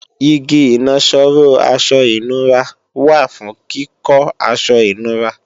Igi ìnaṣọró aṣọ ìnura wà fún kíkọ́ aṣọ ìnura